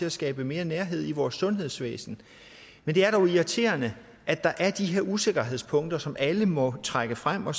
at skabe mere nærhed i vores sundhedsvæsen men det er dog irriterende at der er de her usikkerhedspunkter som alle må trække frem og